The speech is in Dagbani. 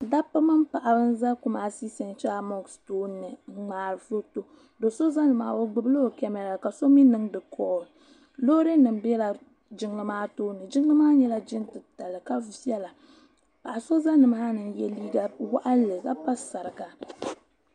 Dabba mini paɣaba n za Kumasi central mosque tooni n ŋmaari foto doo so za ni maa ni o gbubi la o kamara ka so mi niŋdi kɔl loori nim bɛla jiŋli maa tooni jiŋli maa nyɛla jiŋ titali ka viɛla paɣa so n za ni maa ni n yɛ liiga waɣinli ka pa sariga.